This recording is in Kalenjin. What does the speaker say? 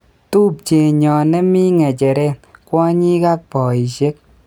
"Tupchenyon nemi ng'echeret, kwonyik ak poishek.